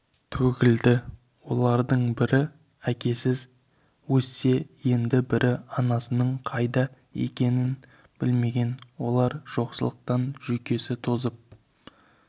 төгілді олардың бірі әкесіз өссе енді бірі анасының қайда кеткенін білмеген олар жоқшылықтан жүйкесі тозып